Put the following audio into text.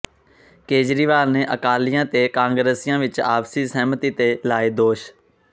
ਕੇਜਰੀਵਾਲ ਨੇ ਅਕਾਲੀਆਂ ਤੇ ਕਾਂਗਰਸੀਆਂ ਵਿੱਚ ਆਪਸੀ ਸਹਿਮਤੀ ਦੇ ਲਾਏ ਦੋਸ਼